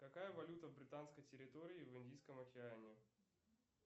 какая валюта в британской территории в индийском океане